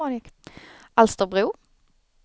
Alsterbro